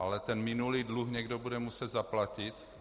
Ale ten minulý dluh někdo bude muset zaplatit.